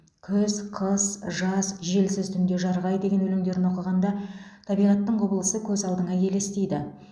күз қыс жаз желсіз түнде жарық ай деген өлеңдерін оқығанда табиғаттың құбылысы көз алдыңа елестейді